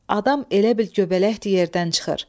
Adam elə bil göbələk tək yerdən çıxır.